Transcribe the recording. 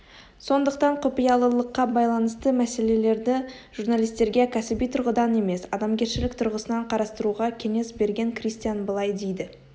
сондықтан құпиялылыққа байланысты мәселелерді журналистерге кәсіби тұрғыдан емес адамгершілік тұрғысынан қарастыруға кеңес берген кристиан былай дейді